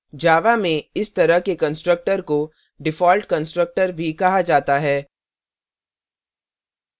java में इस तरह के constructor को default constructor भी कहा java है